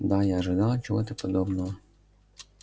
да я ожидал чего-то подобного